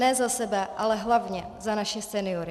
Ne za sebe, ale hlavně za naše seniory.